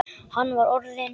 Hann var orðinn.